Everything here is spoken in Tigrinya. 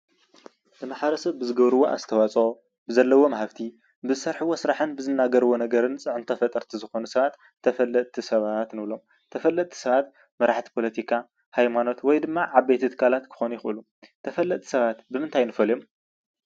ንማሕበረሰብ ብዝገብርዎ ኣስተዋፅኦ ብዘለዎም ሃፍቲ ብዝሰርሕዎ ስራሕን ብዝናገረዎ ነገርን ፅዕንቶ ፈጠርቲ ዝኮኑ ሰባት ተፈለጥቲ ሰባት ንብሎም ተፈለጥቲ ሰባት መራሕቲ ፖለቲካ፣ ሃይማኖት ወይድማ ዓበይቲ ትካላት ክኾኑ ይኽእሉ ተፈለጥቲ ሰባት ብምንታይ ንፈልዮም?